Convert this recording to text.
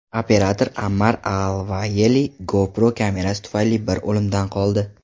Operator Ammar Alvayeli GoPro kamerasi tufayli bir o‘limdan qoldi.